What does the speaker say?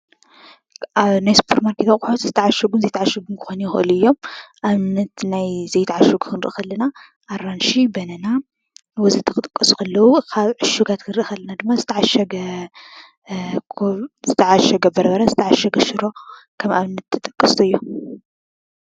ኣብ ናይ ስፖር ማርኬት ዝተዓሸጉን ዘይተዓሸጉን ክኾኑ ይኽእሉ እዮም። ኣብነት ናይ ዘይተዓሸጉ ክንሪኢ ከለና ኣራንሺ፣ በነና ወዘተ ክጥቀሱ ከለዉ ካብ ዑሽጋት ክንርኢ ከለና ድማ ዝተዓሸገ በርበረ ፣ዝተዓሸገ ሽሮ፣ ከም ኣብነት ምጥቃስ ይኽእሉ እዮም ።